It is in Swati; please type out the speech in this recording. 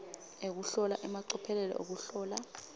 ekuhlola emacophelo ekuhlola